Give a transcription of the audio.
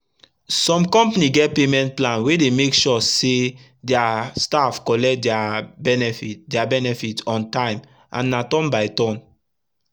sum company get payment plan wey dey make sure say dia staff collect dia benefit dia benefit on tym and na turn by turn